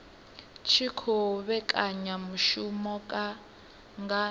tshi khou vhekanya mishumo nga